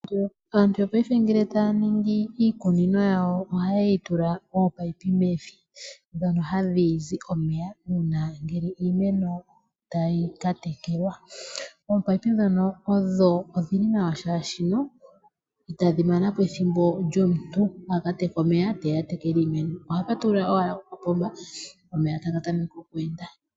Aantu yo paife ngele taya ningi iikunino yawo oha yeyi tula ominino mevi ndhono hadhi zi omeya uuna ngele iimeno tayi tekelwa . Ominino ndhoka odhili nawa oshoka itadhi mana po ethimbo lyomuntu aka teke omeya eteya atekele iimeno oha patulula owala opomba omeya taga tameke oku enda.